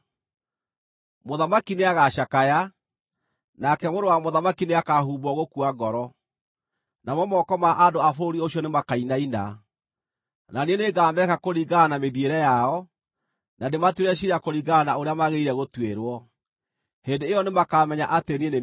Mũthamaki nĩagacakaya, nake mũrũ wa mũthamaki nĩakahumbwo gũkua ngoro, namo moko ma andũ a bũrũri ũcio nĩmakainaina. Na niĩ nĩngameka kũringana na mĩthiĩre yao, na ndĩmatuĩre ciira kũringana na ũrĩa magĩrĩire gũtuĩrwo. Hĩndĩ ĩyo nĩmakamenya atĩ niĩ nĩ niĩ Jehova.’ ”